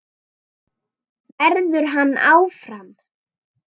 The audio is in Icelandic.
Verður hann áfram?